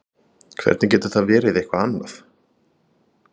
Hvernig getur það verið eitthvað annað?